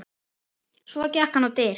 Svo gekk hann á dyr.